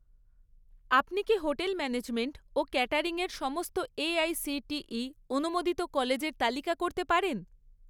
আপনি কি hotel management ও ক্যাটারিংয়ের সমস্ত এআইসিটিই অনুমোদিত কলেজের তালিকা করতে পারেন?